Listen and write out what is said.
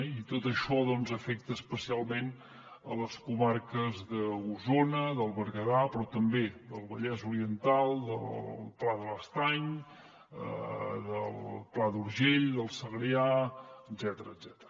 i tot això doncs afecta especialment les comarques d’osona del berguedà però també del vallès oriental del pla de l’estany del pla d’urgell del segrià etcètera